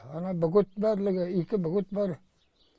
ана бөгеттің барлығы екі бөгет бар